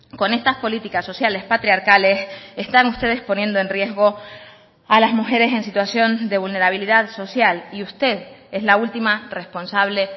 con estas políticas sociales patriarcales están ustedes poniendo en riesgo a las mujeres en situación de vulnerabilidad social y usted es la última responsable